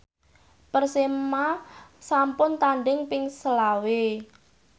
Persema sampun tandhing ping selawe